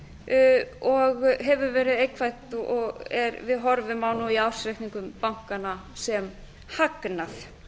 þurft og hefur verið neikvætt og við horfum á í ársreikningum bankanna sem hagnað